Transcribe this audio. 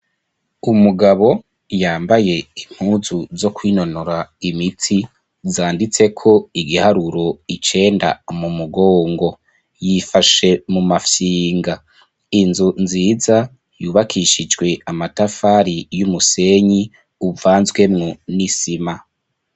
Umugabo yambaye impuzu zo kwinonora imitsi zanditse ko igiharuro icenda mu mugongo yifashe mu mafyinga inzu nziza yubakishijwe amatafari y'umusenyi uvanzwemwo n'isima.